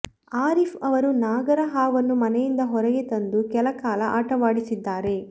ಆರೀಫ್ ಅವರು ನಾಗರ ಹಾವನ್ನು ಮನೆಯಿಂದ ಹೊರಗೆ ತಂದು ಕೆಲ ಕಾಲ ಆಟವಾಡಿಸಿದ್ದಾರೆ